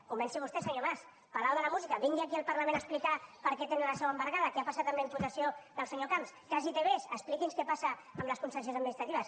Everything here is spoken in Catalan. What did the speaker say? comenci vostè senyor mas palau de la música vingui aquí al parlament a explicar per què tenen la seu embargada què ha passat amb la imputació del senyor camps cas itv expliqui’ns què passa amb les concessions administratives